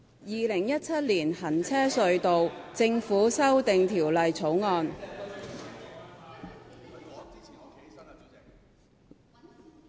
《2017年行車隧道條例草案》。